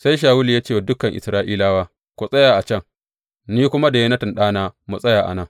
Sai Shawulu ya ce wa dukan Isra’ilawa, Ku tsaya a can, ni kuma da Yonatan ɗana mu tsaya a nan.